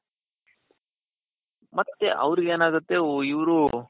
ಮತ್ತೆ ಅವರಿಗೆನಾಗುತ್ತೆ ಓ ಇವ್ರು,